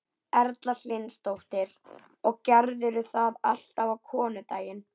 Erla Hlynsdóttir: Og gerirðu það alltaf á konudaginn?